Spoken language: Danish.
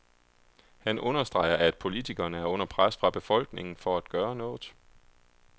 Han understreger, at politikerne er under pres fra befolkningen for at gøre noget.